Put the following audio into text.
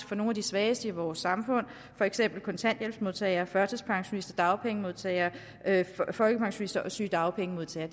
fra nogle af de svageste i vores samfund for eksempel kontanthjælpsmodtagere førtidspensionister dagpengemodtagere folkepensionister og sygedagpengemodtagere